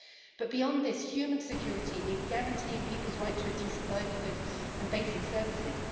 But beyond this, human security means guaranteeing people's right to a decent livelihood and basic services.